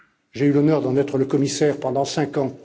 J'ai eu l'honneur d'en être le commissaire pendant cinq ans.